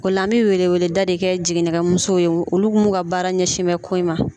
O la an bɛ wele wele da de kɛ jigini kɛ musow ye olu mun ka baara ɲɛsin bɛ ko in ma.